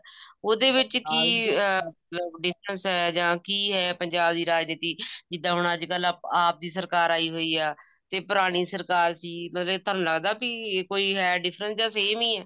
ਉਹਦੇ ਵਿੱਚ ਕਿ ਅਹ ਮਤਲਬ distance ਹੈ ਜਾਂ ਕਿ ਹੈ ਪੰਜਾਬ ਦੀ ਰਾਜਨੀਤੀ ਜਿੱਦਾਂ ਹੁਣ ਅੱਜਕਲ ਆਪ ਦੀ ਸਰਕਾਰ ਆਈ ਹੋਈ ਹੈ ਤੇ ਪੁਰਾਣੀ ਸਰਕਾਰ ਸੀ ਮਤਲਬ ਕੇ ਤੁਹਾਨੂੰ ਲੱਗਦਾ ਵੀ ਕੋਈ ਹੈ difference ਜਾਂ same ਹੀ ਹੈ